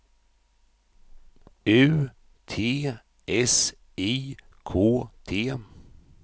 U T S I K T